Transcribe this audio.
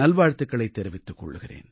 நல்வாழ்த்துகளைத் தெரிவித்துக் கொள்கிறேன்